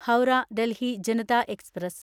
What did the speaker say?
Howrah Delhi Janata express